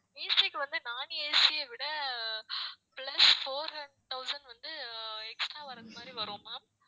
AC க்கு வந்து non AC ய விட plus four hund~ thousand வந்து அஹ் extra வரது மாதிரி வரும் ma'am